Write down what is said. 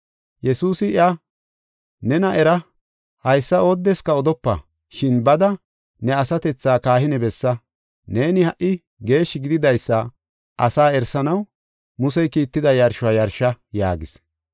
Yesuusi iya, “Nena era, haysa oodeska odopa. Shin bada ne asatethaa kahine bessa. Neeni ha77i geeshshi gididaysa asaa erisanaw, Musey kiitida yarshuwa yarsha” yaagis.